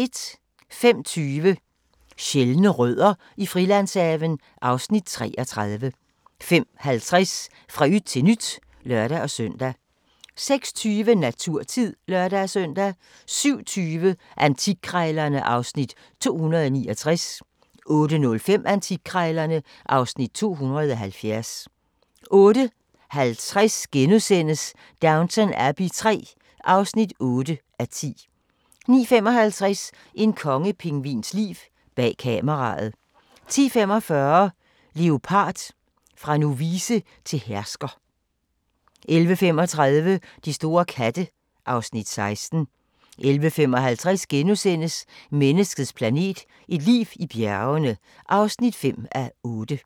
05:20: Sjældne rødder i Frilandshaven (Afs. 33) 05:50: Fra yt til nyt (lør-søn) 06:20: Naturtid (lør-søn) 07:20: Antikkrejlerne (Afs. 269) 08:05: Antikkrejlerne (Afs. 270) 08:50: Downton Abbey III (8:10)* 09:55: En kongepingvins liv – bag kameraet 10:45: Leopard – fra novice til hersker 11:35: De store katte (Afs. 16) 11:55: Menneskets planet – et liv i bjergene (5:8)*